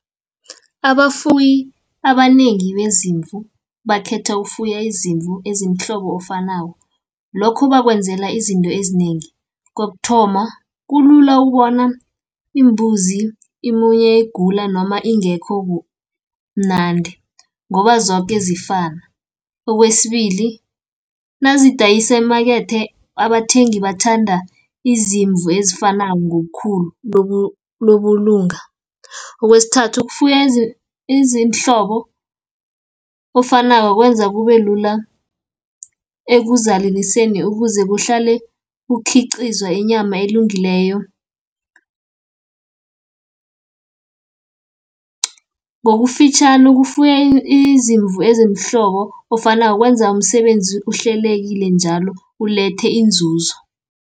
Abafuyi abanengi bezimvu, bakhetha ukufuya izimvu ezimhlobo ofanako. Lokho bakwenzela izinto ezinengi, kokuthoma kulula ukubona imbuzi ibuye igula, noma ingekho mnandi, ngoba zoke zifana. Okwesibili nazidayise emakethe, abathengi bathanda izimvu ezifanako ngobukhulu . Okwesithathu ukufuya ezimhlobo ofanako kwenza kubelula ekuzaleliseni ukuze kuhlale kukhiqizwa inyama elungileyo. Ngokufitjhani ukufuya izimvu eziimhlobo ofana kwenza umsebenzi uhlelekile njalo, ulethe inzuzo.